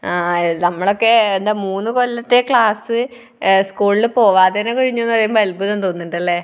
ആ നമ്മളൊക്കെ മൂന്നുകൊല്ലത്തെ ക്ലാസ് സ്കൂളിൽ പോവാതെ തന്നെ കഴിഞ്ഞു എന്ന് പറയുമ്പോൾ അത്ഭുതം തോന്നാറുണ്ട് അല്ലേ?